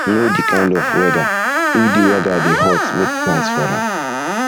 know di kind of di kind of weather if di weather dey hot make plans for am